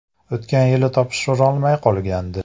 O‘tgan yili topshirolmay qolgandi.